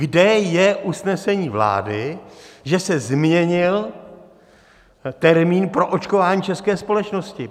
Kde je usnesení vlády, že se změnil termín pro očkování české společnosti?